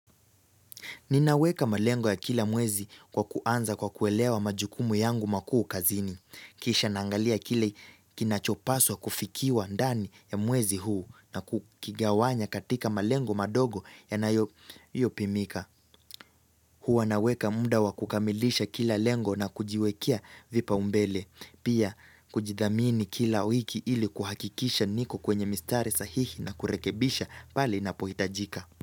Ninaweka malengo ya kila mwezi kwa kuanza kwa kuelewa majukumu yangu makuu kazini. Kisha naangalia kile kinachopaswa kufikiwa ndani ya mwezi huu na kukigawanya katika malengo madogo yanayopimika. Huwa naweka muda wa kukamilisha kila lengo na kujiwekea vipaumbele. Pia kujidhamini kila wiki ili kuhakikisha niko kwenye mistari sahihi na kurekebisha pale ninapohitajika.